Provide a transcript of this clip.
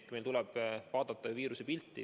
Meil tuleb vaadata viiruse pilti.